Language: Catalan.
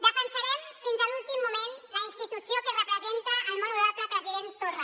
defensarem fins a l’últim moment la institució que representa el molt honorable president torra